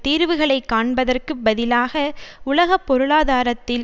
தீர்வுகளைக் காண்பதற்குப் பதிலாக உலக பொருளாதாரத்தில்